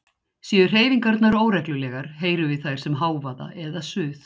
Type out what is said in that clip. Séu hreyfingarnar óreglulegar heyrum við þær sem hávaða eða suð.